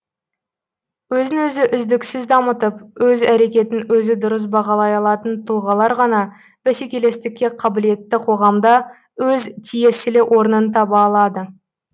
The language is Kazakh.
өзін өзі үздіксіз дамытып өз әрекетін өзі дұрыс бағалай алатын тұлғалар ғана бәсекелестікке қабілетті қоғамда өз тиесілі орнын таба алады